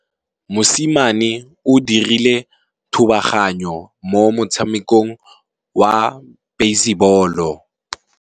Mosimane o dirile thubaganyô mo motshamekong wa basebôlô.